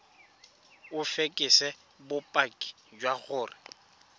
o fekese bopaki jwa gore